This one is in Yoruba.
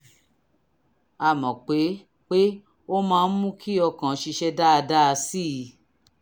a mọ̀ pé pé ó máa ń mú kí ọkàn ṣiṣẹ́ dáadáa sí i